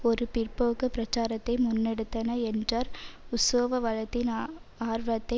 ஒரு பிற்போக்கு பிராச்சாரத்தை முன்னெடுத்தன என்றார் உசோவ வளத்தின் ஆர்வத்தை